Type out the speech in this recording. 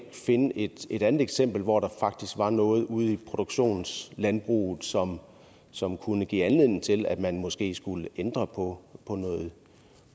finde et et andet eksempel hvor der faktisk var noget ude i produktionslandbruget som som kunne give anledning til at man måske skulle ændre på